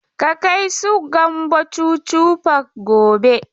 Ka kai su Gambo Chuchu park gobe!